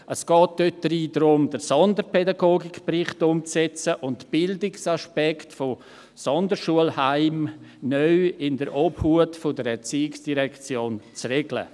Es geht dort darum, den Sonderpädagogikbericht umzusetzen und Bildungsaspekte von Sonderschulheimen neu in der Obhut der ERZ zu regeln.